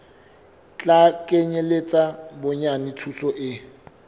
tla kenyeletsa bonyane thuto e